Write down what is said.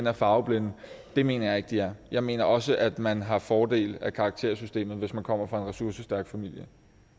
er farveblinde det mener jeg ikke de er jeg mener også at man har fordel af karaktersystemet hvis man kommer fra en ressourcestærk familie